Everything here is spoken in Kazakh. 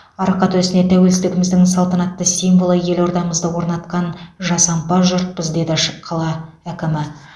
арқа төсіне тәуелсіздігіміздің салтанатты символы елордамызды орнатқан жасампаз жұртпыз деді ш қала әкімі